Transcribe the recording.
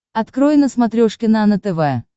открой на смотрешке нано тв